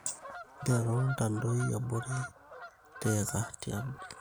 Nteru ntadoi abori(tiika tiabori